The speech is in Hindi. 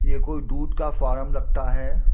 ये कोई दूध का फारम लगता है।